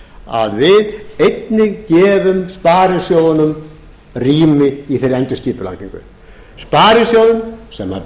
að við einnig gefum sparisjóðunum rými í þeirri endurskipulagningu sparisjóðum sem